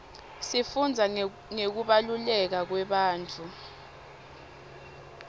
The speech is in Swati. sifundza ngekubaluleka kwebantfu